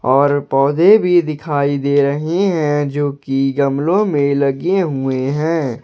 और पौधे भी दिखाई दे रहे हैं जो कि गमलों में लगे हुए हैं।